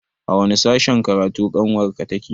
A wani sashen karatu ƙanwar ka take?